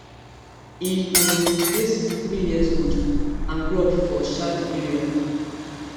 e um dey sixty-three years old and grow up for um di area